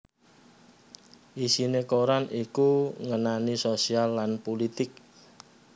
Isiné koran iku ngenani sosial lan pulitik